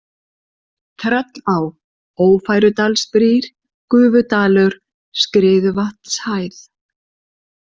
Tröllá, Ófærudalsbrýr, Gufudalur, Skriðuvatnshæð